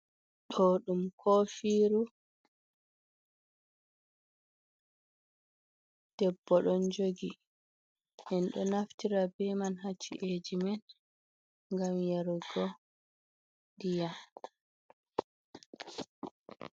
To ɗum ko firu, debbo ɗon jogi. En do naftira be man haci’eji men gam yarugo ndiyam.